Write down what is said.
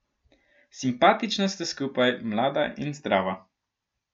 Simpatična sta skupaj, mlada in zdrava.